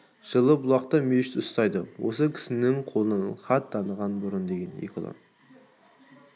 жылы бұлақта мешіт ұстайды осы кісінің қолынан хат таныған бұрын деген екі ұлы